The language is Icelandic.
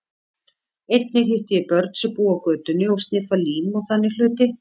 Einnig hitti ég börn sem búa á götunni og sniffa lím og þannig hluti.